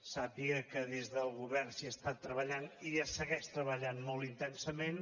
sàpiga que des del govern s’hi ha estat treballant i s’hi segueix treballant molt intensament